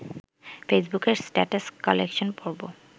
ফেসবুকের status collection পর্ব